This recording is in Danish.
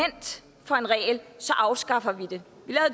for en regel afskaffer vi